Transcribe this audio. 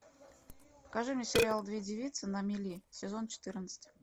покажи мне сериал две девицы на мели сезон четырнадцать